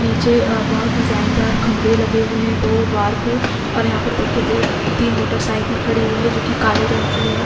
नीचे अ बहुत डिजाइनरदार खंबे लगे हुए हैं दो द्वार पे और यहाँ पर देखिये दो तीन मोटरसाइकिल खड़ी हुई है जो की काले रंग की है।